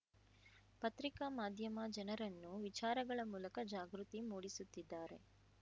ಪತ್ರಿಕಾ ಮಾಧ್ಯಮ ಜನರನ್ನು ವಿಚಾರಗಳ ಮೂಲಕ ಜಾಗೃತಿ ಮೂಡಿಸುತ್ತಿದ್ದಾರೆ